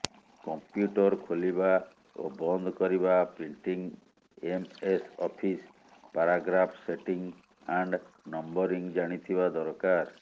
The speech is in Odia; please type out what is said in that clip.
କମ୍ପ୍ୟୁଟର ଖୋଲିବା ଓ ବନ୍ଦ କରିବା printing MS office paragraph setting and numbering ଜାଣିଥିବା ଦରକାର